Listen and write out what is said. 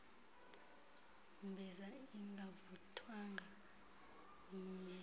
mbiza ingavuthwanga inyele